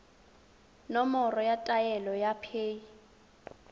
nomoro ya taelo ya paye